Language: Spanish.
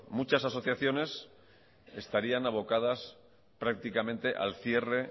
muchas asociaciones estarían abocadas prácticamente al cierre